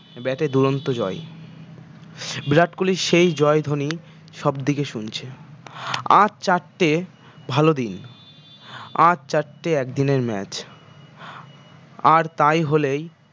bat এ দুরন্ত জয় বিরাট কোহলির সেই জয় ধ্বনি সবদিকে শুনছে আর চারটে ভাল দিন আর চারটে একদিনের match আর তাই হলেই